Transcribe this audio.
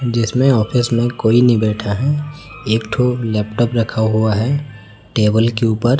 जिसमें ऑफिस में कोई नहीं बैठा है एक ठो लैपटॉप रखा हुआ है टेबल के ऊपर।